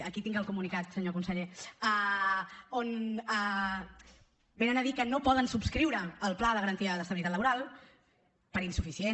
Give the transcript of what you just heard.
aquí tinc el comunicat senyor conseller on venen a dir que no poden subscriure el pla de garantia d’estabilitat laboral per insuficient